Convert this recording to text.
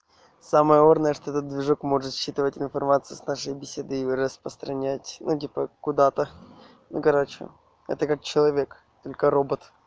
самая орная что-то движок может считывать информацию с нашей беседы и распространять ну типа куда-то ну короче это как человек только робот